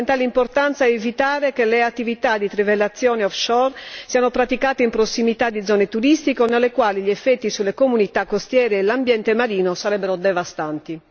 È di fondamentale importanza evitare che le attività di trivellazione offshore siano praticate in prossimità di zone turistiche o nelle quali gli effetti sulle comunità costiere e l'ambiente marino sarebbero devastanti.